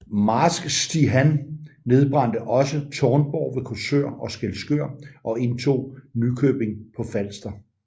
Marsk Stig Han nedbrændte også Tårnborg ved Korsør og Skelskør og indtog Nykøbing på Falster